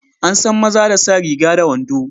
Ansan maza da sa riga da wando.